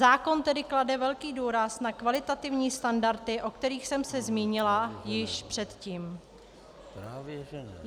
Zákon tedy klade velký důraz na kvalitativní standardy, o kterých jsem se zmínila již předtím.